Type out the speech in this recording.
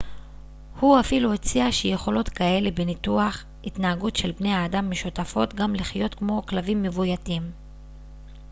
הוא אפילו הציע שיכולות כאלה בניתוח התנהגות של בני האדם משותפות גם לחיות כמו כלבים מבויתים